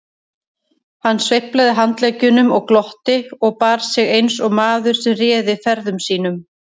Hann sveiflaði handleggjunum og glotti og bar sig eins og maður sem réði ferðum sínum.